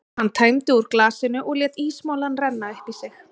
Hann tæmdi úr glasinu og lét ísmolann renna upp í sig.